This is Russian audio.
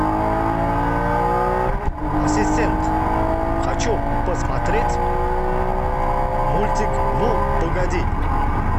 ассистент хочу посмотреть мультик ну погоди